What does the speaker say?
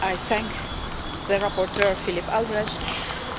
I thank rapporteur Philipp Albrecht,